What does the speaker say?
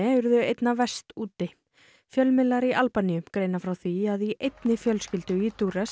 urðu verst úti fjölmiðlar í Albaníu greina frá því að í einni fjölskyldu í